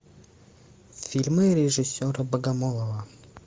фильмы режиссера богомолова